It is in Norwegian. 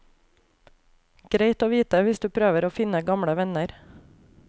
Greit å vite hvis du prøver å finne gamle venner.